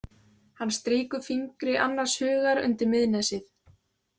Hann strýkur fingri annars hugar undir miðnesið.